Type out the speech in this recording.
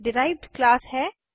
यह derived class है